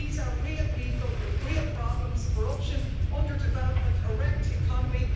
These are real people, with real problems corruption, under-development, a wrecked economy.